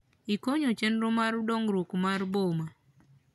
Ikonyo chenro mar dongrwuok mar boma